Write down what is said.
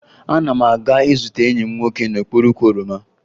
Ana m aga izute enyi m nwoke n'okpuru ukwu oroma